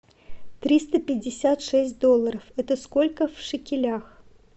триста пятьдесят шесть долларов это сколько в шекелях